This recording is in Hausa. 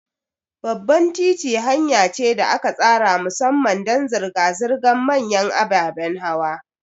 Babban titi hanya ce da aka tsara musamman don zirga-zirgar manyan ababen hawa.